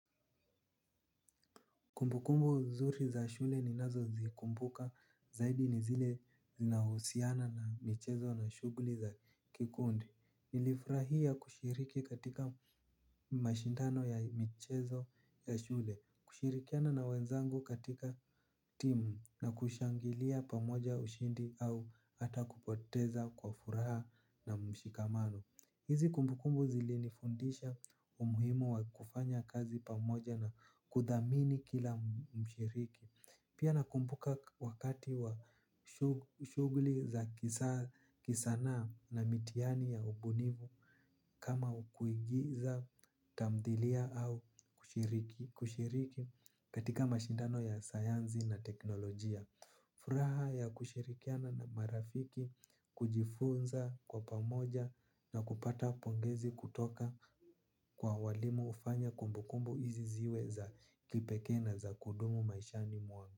Kumbukumbu nzuri za shule ninazozikumbuka zaidi ni zile zinahusiana na michezo na shughuli za kikundi. Nilifurahia kushiriki katika mashindano ya michezo ya shule, kushirikiana na wenzangu katika timu na kushangilia pamoja ushindi au hata kupoteza kwa furaha na mshikamano. Hizi kumbukumbu zilinifundisha umuhimu wa kufanya kazi pamoja na kuthamini kila mshiriki. Pia nakumbuka wakati wa shughuli za kisanaa na mitihani ya ubunifu. Kama kuigiza tamthilia au kushiriki katika mashindano ya sayansi na teknolojia. Furaha ya kushirikiana na marafiki kujifunza kwa pamoja na kupata pongezi kutoka kwa walimu hufanya kumbukumbu hizi ziwe za kipekee na za kudumu maishani mwangu.